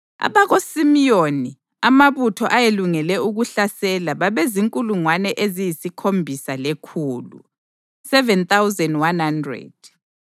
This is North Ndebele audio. abakaSimiyoni, amabutho ayelungele ukuhlasela babezinkulungwane eziyisikhombisa lekhulu (7,100),